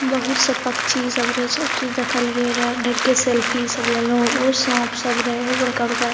बहुत सब पक्षी सब रहे सब चीज देखललिए रहे ढेरीके सेल्फी सब लेलो ओ सांप सब रहे ओ बड़का-बड़का।